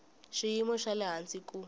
xiyimo xa le hansi ku